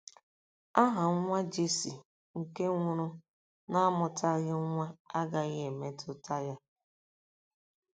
Aha nwa Jesi nke nwụrụ n'amụtaghị nwa agaghị emetụta ya.